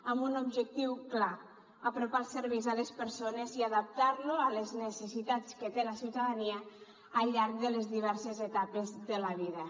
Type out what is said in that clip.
amb un objectiu clar apropar els serveis a les persones i adaptar lo a les necessitats que té la ciutadania al llarg de les diverses etapes de la vida